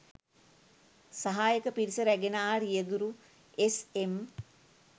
සහායක පිරිස රැගෙන ආ රියදුරු එස්.එම්